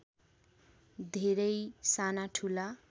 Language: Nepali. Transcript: धेरै सानाठूला